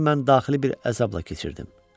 Bu ayı mən daxili bir əzabla keçirdim.